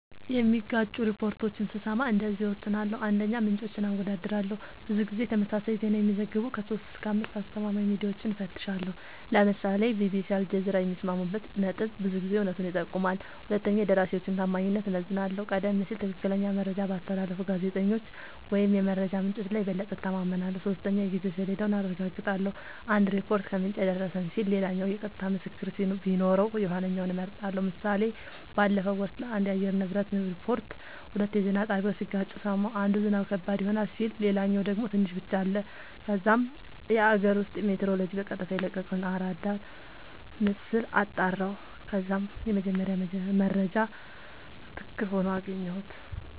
የሚጋጩ ሪፖርቶችን ስሰማ እንደዚህ እወስናለሁ :- 1, ምንጮችን አወዳድራለሁ :-ብዙ ጊዜ ተመሳሳይ ዜና የሚዘግቡ 3-5አስተማማኝ ሚድያወችን እፈትሻለሁ ( ለምሳሌ ቢቢሲ አልጀዚራ )የሚስማሙበት ነጥብ ብዙ ጊዜ እውነቱን ይጠቁማል 2 የደራሲወችን ታማኝነት እመዝናለሁ :-ቀደም ሲል ትክክለኛ መረጃ ባስተላለፉ ጋዜጠኞች ወይም የመረጃ ምንጮች ላይ የበለጠ እተማመናለሁ። 3 የጊዜ ሰሌዳውን አረጋግጣለሁ :- አንድ ሪፖርት "ከምንጭ የደረሰን" ሲል ሌላኛው የቀጥታ ምስክር ቢኖረው የኋለኛውን እመርጣለሁ ## ምሳሌ ባለፈው ወር ስለአንድ የአየር ንብረት ሪፖርት ሁለት የዜና ጣቢያወች ሲጋጩ ሰማሁ። አንዱ "ዝናብ ከባድ ይሆናል " ሲል ሌላኛው ደግሞ "ትንሽ ብቻ " አለ። ከዛም የአገር ውስጥ ሜትሮሎጅ በቀጥታ የለቀቀውን አራዳር ምስል አጣራሁ ከዛም የመጀመሪያው መረጃ ትክክል ሆኖ አገኘሁት